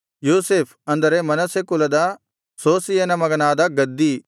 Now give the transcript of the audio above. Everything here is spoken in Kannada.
ಯೋಸೇಫ್ ಅಂದರೆ ಮನಸ್ಸೆ ಕುಲದ ಸೂಸೀಯನ ಮಗನಾದ ಗದ್ದೀ